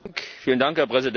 Herr Präsident!